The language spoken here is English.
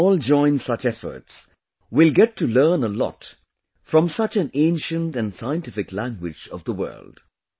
If we all join such efforts, we will get to learn a lot from such an ancient and scientific language of the world